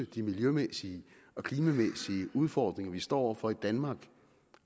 de miljømæssige og klimamæssige udfordringer vi står over for i danmark